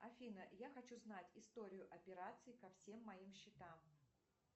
афина я хочу знать историю операций ко всем моим счетам